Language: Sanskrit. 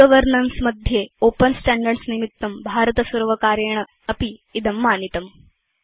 e गवर्नेन्स् मध्ये ओपेन स्टैण्डर्ड्स् निमित्तं भारतसर्वकारेणापि इदं मानितम्